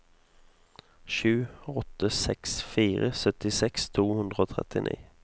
sju åtte seks fire syttiseks to hundre og trettini